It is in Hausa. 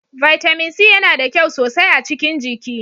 Vitamin C yana da kyau sosai a cikin jiki.